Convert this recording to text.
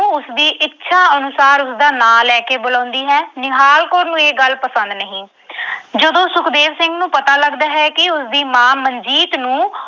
ਨੂੰ ਉਸਦੀ ਇੱਛਾ ਅਨੁਸਾਰ ਉਸਦਾ ਨਾਂ ਲੈ ਕੇ ਬੁਲਾਉਂਦੀ ਹੈ। ਨਿਹਾਲ ਕੌਰ ਨੂੰ ਇਹ ਗੱਲ ਪਸੰਦ ਨਹੀਂ। ਜਦੋਂ ਸੁਖਦੇਵ ਸਿੰਘ ਨੂੰ ਪਤਾ ਲੱਗਦਾ ਹੈ ਕਿ ਉਸਦੀ ਮਾਂ ਮਨਜੀਤ ਨੂੰ